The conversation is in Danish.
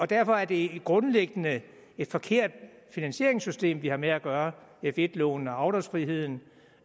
derfor er det grundlæggende et forkert finansieringssystem vi har med at gøre f1 lånene og afdragsfriheden